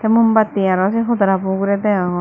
mumbati arow sey hodorabow ugurey degongor.